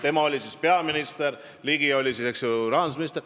Tema oli siis peaminister, Ligi oli siis rahandusminister.